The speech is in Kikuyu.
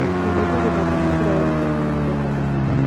Nyendete gũthaka mũbira wa gĩkabu mahinda kwa mahinda.